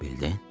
Bildin?